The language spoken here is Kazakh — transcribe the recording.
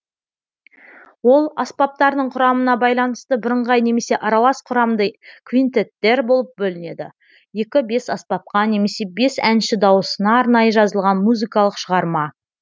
ол аспаптардың құрамына байланысты бірыңғай немесе аралас құрамды квинтеттер болып бөлінеді екі бес аспапқа немесе бес әнші дауысына арнайы жазылған музыкалық шығарма